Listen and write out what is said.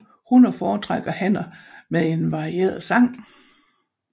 Hunner foretrækker hanner med en varieret sang